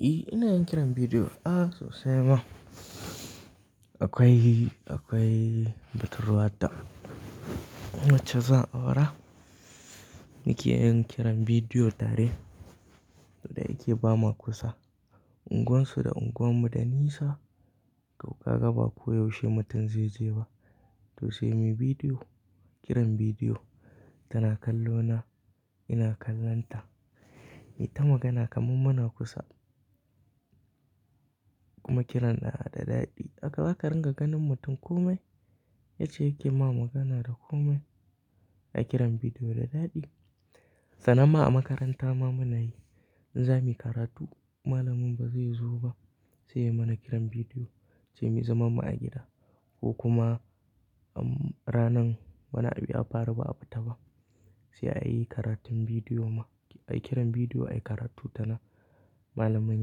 E, ina yin kiran bidiyo. A sosai ma. Akwai, akwai batruwata wacce za a aura muke yin kiran bidiyo tare da yake ba ma kusa. E, ina yin kiran bidiyo. A sosai ma. Akwai, akwai batruwata wacce za a aura muke yin kiran bidiyo tare da yake ba ma kusa. Ita magana kamar muna kusa kuma kiran na da daɗi. Haka za ka ringa ganin mutum komai yace yake ma magana da komai a kiran bidiyo da daɗi. Wataranma a makaranta ma muna yi, in za muyi karatu malamin ba zai zo ba sai ya mana kiran bidiyo, sai muyi zaman mu a gida ko kuma ranan bana biya bara ba a bita ba sai a yi karatun bidiyo ma. A yi kiran bidiyo, a yi karatu tana, malamin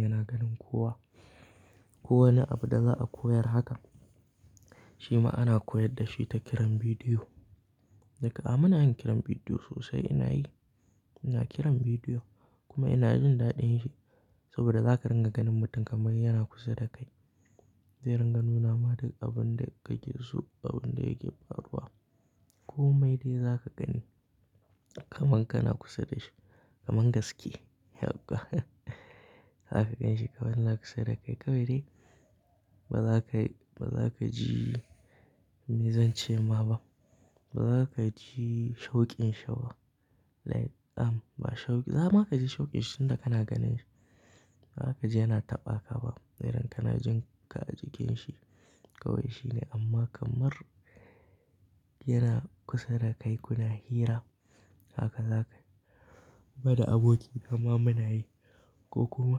yana ganin kowa. Kowane abu da za a koyar haka shi ma ana koyar da shi ta kiran bidiyo. Duk a muna yin kiran bidiyo sosai ina yi, ina kiran bidiyo kuma ina jin daɗin shi saboda za ka ringa ganin mutum kamar yana kusa da kai. Zai ringa nuna ma duk abun da ka ke so abun da yake faruwa. Komai dai za ka gani kamar kana kusa da shi, kamar gaske. Haka zaka gan shi kamar kana kusa da kai. Kawai dai ba za ka, ba za ka ji mizan ci ma Ba za ka ji shauƙin sha ba. Like am ba shauƙi, dama ka ji shauƙin shinda kana ganin shi. Ba za ka ji yana taɓa ka ba. Sai idan kana jin ka a jikin shi kawai shine amma kamar yana kusa da kai kuna hira. Hakan zaka. Ba da aboki amma muna yi ko kuma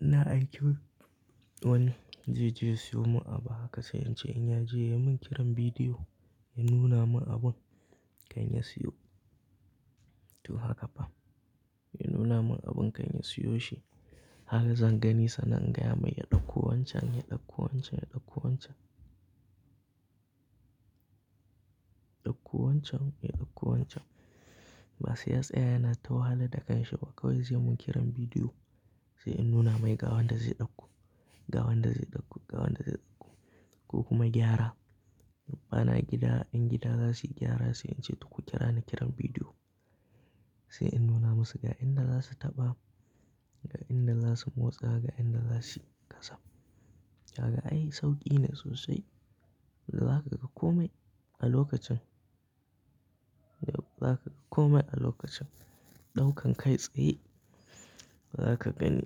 ina aiki wani zai je siyo mun abu haka sai in ce in yaje ya mun kiran bidiyo ya nuna mun abun kayan ya siyo. To haka fa. Ya nuna mun abun kayan ya siyo shi. Haka zan gani sannan, ingaya mai ya ɗauko wancan, ya ɗauko wancan, ya ɗauko wancan. Ɗauko wancan, ya ɗauko wancan. Ba sai ya tsaya yana tahala da kanshi ba kawai zai mun kiran bidiyo sai in nuna mai ga wanda zai ɗauko, ga wanda zai ɗauko, ga wanda zai ɗauko ko kuma gyara. Bana gida, in gida za su yi gyara sai in ce duk ku kira ni kiran bidiyo sai in nuna musu ga inda za su taɓa, ga inda za su motsa, ga inda za su gasa. Kaga ai sauƙi ne sosai. Da za ka ga komai a lokacin. Da za ka ga komai a lokacin. Ɗaukan kai tsaye ba za ka gani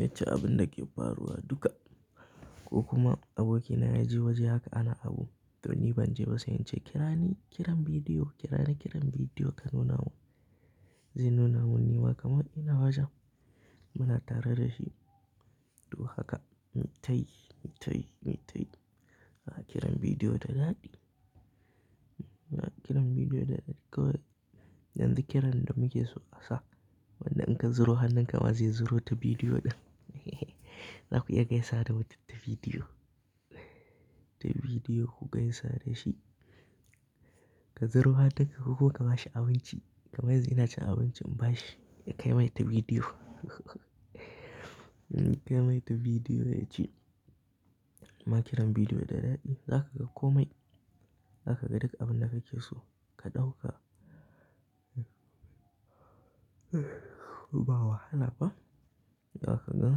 yace abun da ke faruwa duka ko kuma aboki na yaje waje haka ana abu to ni ban je ba sai in ce kirani kiran bidiyo, kirani kiran bidiyo ka nuna mun. Zai nuna mun ni ma kamar ina wajen. Muna tare da shi. To haka. Mitayi, mitayi mitayi a kiran bidiyo da daɗi. Haka kiran bidiyo da daɗi kawai. Yanzu kiran da muke so a sa wanda in ka zuro hanan ka ma zai zuro ta bidiyo ɗin za ku iya gaisa da mutum ta bidiyo. Ta bidiyo ku gaisa da shi. Ka zuro hanan ka ko ka bashi abinci kamar zai naci abincin ba shi ya kai mai ta bidiyo kai mai ta bidiyo ya ci. Ma kiran bidiyo da daɗi. Za ka ga komai, za ka ga duk abin da kake so ka ɗauka. Bawa, hala ba. Za ka gan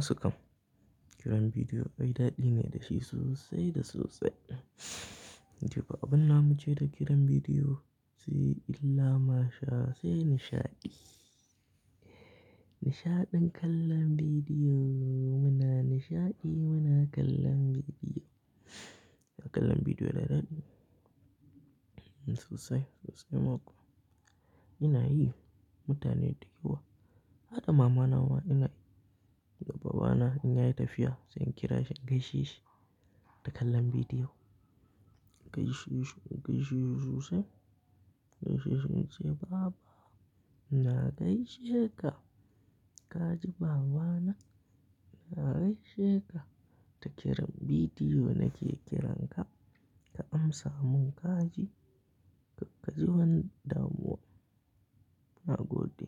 su kam. Kiran bidiyo ai daɗi ne da shi sosai da sosai. Idan babu ina mu je da kiran bidiyo sai illa ma sha sai nishaɗi. Nishaɗin kallon bidiyo, muna nishaɗi muna kallon bidiyo. Haka kallon bidiyo da daɗi. Sosai, sosai ma kuwa. Ina yi mutane duka uwa. Haka mamana ma ina yi da babana ina yi tafiya sai in kira shi in gaishe shi da kallon bidiyo. Gaishe shi, gaishe shi sosai. Gaishe shi in ce baba ina gaishe ka. Ka ji baba na? Na gaishe ka ta kiran bidiyo nake kiran ka, ka amsa mun ka ji. Ka ji wanda mu na gode.